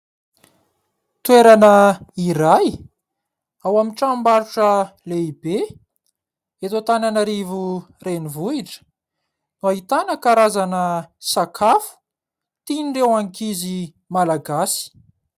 Toerana iray ao amin'ny tranom-barotra lehibe eto Antananarivo renivohitra no ahitana karazana sakafo tiny ireo ankizy Malagasy.